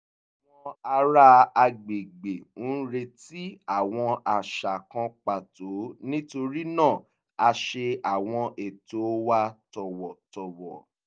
àwọn ará agbègbè ń retí àwọn àṣà kan pàtó nítorí náà a ṣe àwọn ètò wa tọ̀wọ̀tọ̀wọ̀